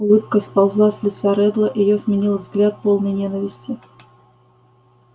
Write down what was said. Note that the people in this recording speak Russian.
улыбка сползла с лица реддла её сменил взгляд полный ненависти